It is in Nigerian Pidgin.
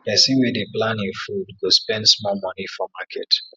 pesin wey dey plan e food go spend small moni for market